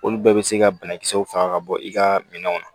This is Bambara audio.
Olu bɛɛ bɛ se ka banakisɛw faga ka bɔ i ka minɛnw na